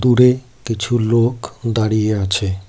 দূরে কিছু লোক দাঁড়িয়ে আছে।